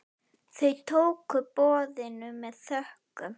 Þau tóku boðinu með þökkum.